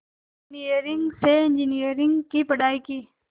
engineering से engineering की पढ़ाई की